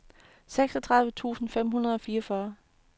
seksogtredive tusind fem hundrede og fireogfyrre